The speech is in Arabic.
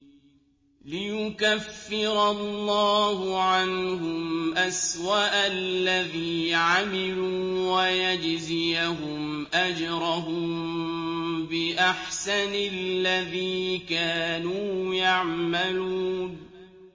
لِيُكَفِّرَ اللَّهُ عَنْهُمْ أَسْوَأَ الَّذِي عَمِلُوا وَيَجْزِيَهُمْ أَجْرَهُم بِأَحْسَنِ الَّذِي كَانُوا يَعْمَلُونَ